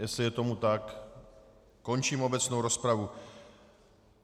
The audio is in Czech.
Jestli je tomu tak, končím obecnou rozpravu.